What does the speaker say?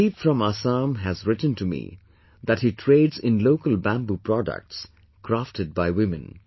Sudeep from Assam has written to me that he trades in local bamboo products crafted by women